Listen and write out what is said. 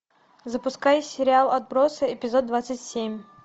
запускай сериал отбросы эпизод двадцать семь